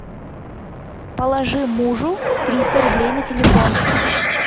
положи мужу триста рублей на телефон